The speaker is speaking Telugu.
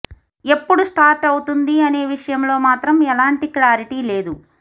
ఎప్పుడు స్టార్ట్ అవుతుంది అనే విషయంలో మాత్రం ఎలాంటి క్లారిటీ లేదు